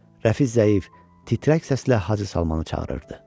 Rəfi zəif, titrək səslə Hacı Salmanı çağırırdı.